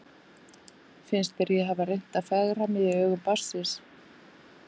Finnst þér ég hafa reynt að fegra mig í augum barnsins?